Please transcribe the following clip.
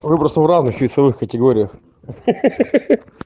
выбросы в разных весовых категориях ха-ха